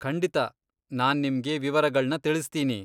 ಖಂಡಿತಾ, ನಾನ್ ನಿಮ್ಗೆ ವಿವರಗಳ್ನ ತಿಳಿಸ್ತೀನಿ.